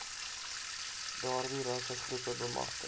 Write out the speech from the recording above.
daardie rassegroepe bemagtig